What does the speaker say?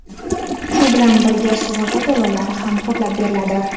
shu bilan birga sug‘urta to‘lovlari ham qoplab beriladi.